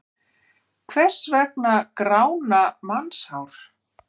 Hvers vegna grána mannshár?